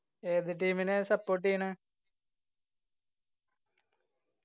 ഏത് team നെയാ support എയ്യണെ